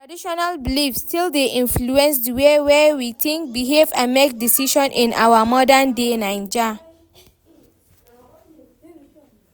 Traditional beliefs still dey influence the way wey we think, behave and make decisions in our modern-day Naija.